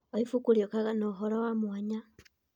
O ibuku rĩkuaga ũhoro wa mwanya.